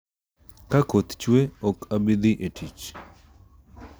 Ka koth chwe, ok abi dhi e tich